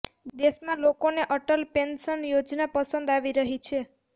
દેશમાં લોકોને અટલ પેન્શન યોજના પસંદ આવી રહી છે